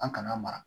An kana mara